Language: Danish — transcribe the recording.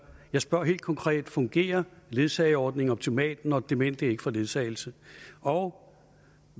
jeg spørger helt konkret fungerer ledsageordningen optimalt når demente ikke får ledsagelse og